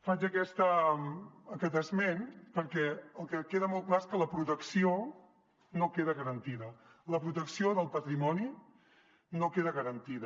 faig aquest esment perquè el que queda molt clar és que la protecció no queda garantida la protecció del patrimoni no queda garantida